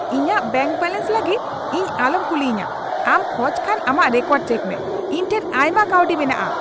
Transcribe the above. ᱤᱧᱟᱜ bank balance ᱞᱟᱹᱜᱤᱫ ᱤᱧ ᱟᱞᱚᱢ ᱠᱩᱞᱤᱭᱤᱧᱟ ᱾ ᱟᱢ ᱠᱷᱚᱡ ᱠᱷᱟᱱ ᱟᱢᱟᱜ ᱨᱮᱠᱚᱨᱰ ᱪᱮᱠ ᱢᱮ ᱾ ᱤᱧ ᱴᱷᱮᱱ ᱟᱭᱢᱟ ᱠᱟᱹᱣᱰᱤ ᱢᱮᱱᱟᱜᱼᱟ ᱾